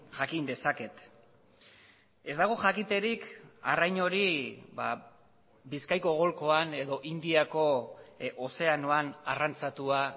jakin dezaket ez dago jakiterik arrain hori bizkaiko golkoan edo indiako ozeanoan arrantzatua